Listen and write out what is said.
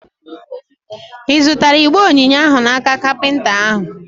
Ị zụtara igbe onyinye ahụ n'aka kapinta ahụ?